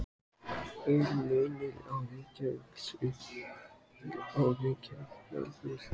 Heimir Már: Er munur á Reykjavík suður og Reykjavík norður?